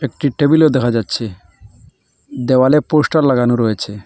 একটি টেবিলও দেখা যাচ্ছে দেওয়ালে পোস্টার লাগানো রয়েছে।